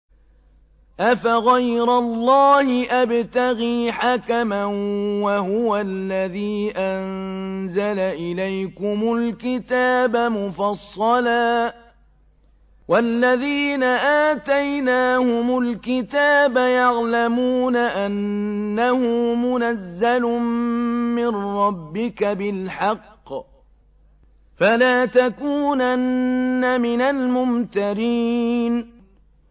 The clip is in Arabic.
أَفَغَيْرَ اللَّهِ أَبْتَغِي حَكَمًا وَهُوَ الَّذِي أَنزَلَ إِلَيْكُمُ الْكِتَابَ مُفَصَّلًا ۚ وَالَّذِينَ آتَيْنَاهُمُ الْكِتَابَ يَعْلَمُونَ أَنَّهُ مُنَزَّلٌ مِّن رَّبِّكَ بِالْحَقِّ ۖ فَلَا تَكُونَنَّ مِنَ الْمُمْتَرِينَ